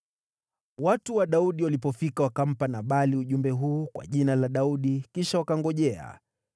Watu wa Daudi walipofika wakampa Nabali ujumbe huu kwa jina la Daudi. Kisha wakangojea.